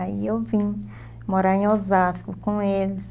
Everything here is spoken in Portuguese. Aí eu vim morar em Osasco com eles.